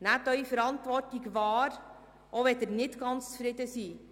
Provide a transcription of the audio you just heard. Nehmen Sie Ihre Verantwortung wahr, auch wenn Sie nicht ganz zufrieden sind.